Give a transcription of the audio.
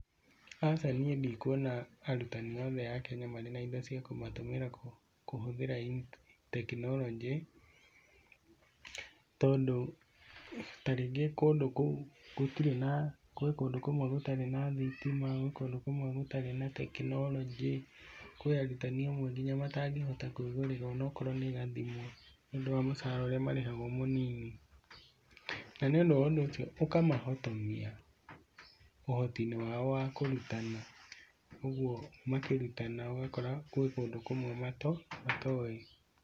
Aca niĩ ndikuona arutani othe a Kenya marĩ na indo cia gũtũmĩra kũhũthĩra tekinoronjĩ, tondũ ta rĩngĩ kundũ kũu gũtirĩ na thitima gwĩ kũndũ kũmwe gũtarĩ na tekinoronjĩ, kũrĩ arutani amwe nginyamatangĩhota nginya kwĩgũrĩra gathimũ nĩũndũ wa mũcara ũrĩa marĩhagwo mũnini, na nĩũndũ wa ũndũ ũcio ũkamahotithia ũhotinĩ wao wa kũrutana, ũguo makĩrutana kũrĩ kũndũ kũmwe matoĩ.